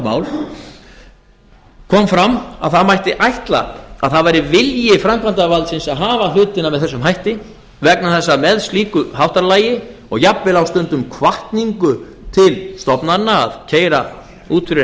mál kom fram að það mætti ætla að það væri vilji framkvæmdarvaldsins að hafa hlutina með þessum hætti vegna þess að með slíku háttalagi og jafnvel á stundum hvatningu til stofnana að keyra út fyrir